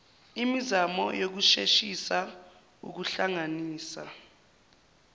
imizamo yokusheshisa ukuhlanganisa